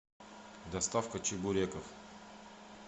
доставка чебуреков